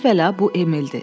Əvvəla, bu Emildir.